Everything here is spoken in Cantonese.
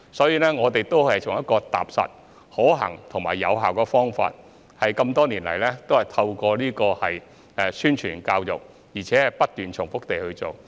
因此，我們都是採取踏實、可行及有效的方法，多年以來透過宣傳和教育，而且不斷重複地去做。